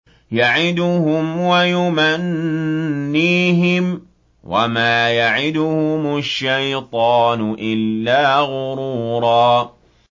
يَعِدُهُمْ وَيُمَنِّيهِمْ ۖ وَمَا يَعِدُهُمُ الشَّيْطَانُ إِلَّا غُرُورًا